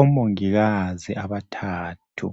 Omongikazi abathathu.